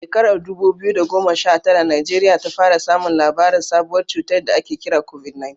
A shekarar dubu biyu da goma sha tara, Najeriya ta fara samun labarin sabuwar cutar da ake kira COVID-19.